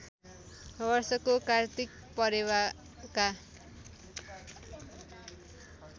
वर्षको कात्तिक परेवाका